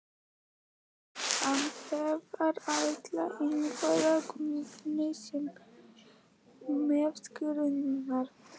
En hvað ætlar Ingvar Guðni sér með skinnurnar?